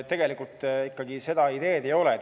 Tegelikult seda ideed ikkagi ei ole.